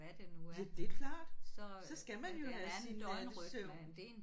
Ja det klart. Så skal man jo have sin nattesøvn